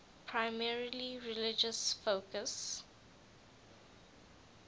primarily religious focus